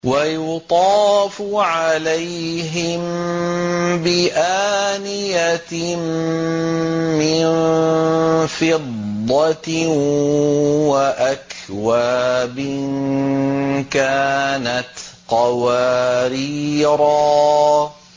وَيُطَافُ عَلَيْهِم بِآنِيَةٍ مِّن فِضَّةٍ وَأَكْوَابٍ كَانَتْ قَوَارِيرَا